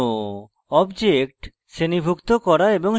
objects শ্রেণীভুক্ত করা এবং সাজানো